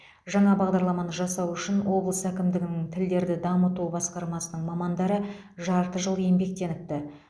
жаңа бағадарламаны жасау үшін облыс әкімдігінің тілдерді дамыту басқармасының мамандары жарты жыл еңбектеніпті